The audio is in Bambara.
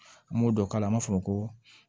An b'o dɔ k'a la an b'a fɔ ko